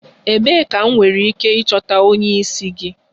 Ebee ka m nwere ike ịchọta onye isi gị?